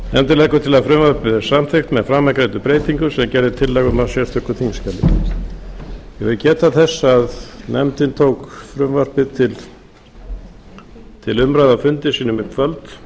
nefndin leggur til að frumvarpið verði samþykkt með framangreindum breytingum sem gerð er tillaga um í sérstöku þingskjali ég vil geta þess að nefndin tók frumvarpið til umræðu á fundi sínum í kvöld